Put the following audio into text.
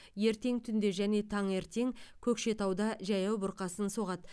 ертең түнде және таңертең көкшетауда жаяу бұрқасын соғады